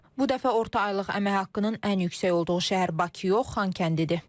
Bu dəfə orta aylıq əmək haqqının ən yüksək olduğu şəhər Bakı yox, Xankəndidir.